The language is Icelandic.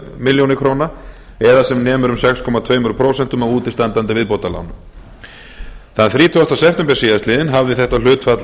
milljóna króna eða sem nemur um sex komma tvö prósent af útistandandi viðbótarlánum þann þrítugasta september síðastliðnum hafði þetta hlutfall